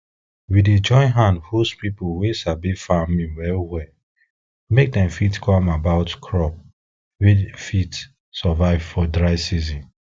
we dey join hand host people wey sabi farming well well make dem fit come about crop wey fit survive for dry season